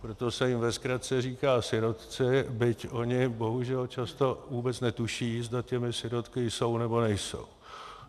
Proto se jim ve zkratce říká sirotci, byť oni bohužel často vůbec netuší, zda těmi sirotky jsou, nebo nejsou.